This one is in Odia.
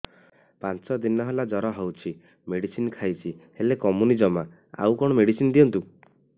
ପାଞ୍ଚ ଦିନ ହେଲା ଜର ହଉଛି ମେଡିସିନ ଖାଇଛି ହେଲେ କମୁନି ଜମା ଆଉ କଣ ମେଡ଼ିସିନ ଦିଅନ୍ତୁ